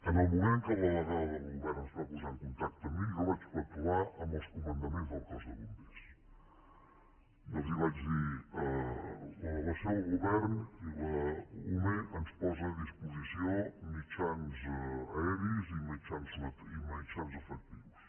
en el moment en què la delegada del govern es va posar en contacte amb mi jo vaig parlar amb els comandaments del cos de bombers i els vaig dir la delegació del govern i l’ume ens posen a disposició mitjans aeris i mitjans efectius